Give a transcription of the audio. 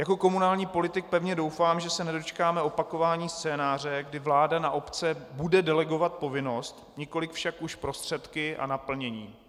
Jako komunální politik pevně doufám, že se nedočkáme opakování scénáře, kdy vláda na obce bude delegovat povinnost, nikoliv však už prostředky a naplnění.